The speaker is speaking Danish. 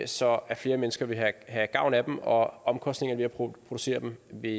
så flere mennesker vil have gavn af dem og omkostningerne ved at producere dem vil